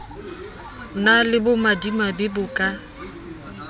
na le bomadimabe bo ka